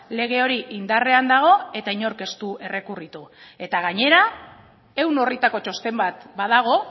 lege hori indarrean dago eta inork ez du errekurritu eta gainera ehun orritako txosten bat badago